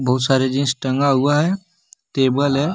बहुत सारे जीन्स टंगा हुआ है टेबल है।